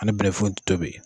An tɛ bɛnfunti tobi.